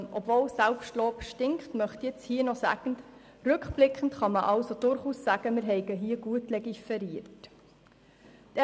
Obwohl Eigenlob stinkt, möchte ich hier trotzdem sagen, dass wir rückblickend betrachtet diesbezüglich gut legiferiert haben.